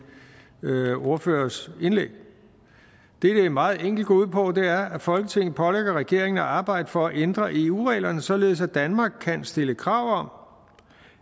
ordføreres indlæg det det meget enkelt går ud på er at folketinget pålægger regeringen at arbejde for at ændre eu reglerne således at danmark kan stille krav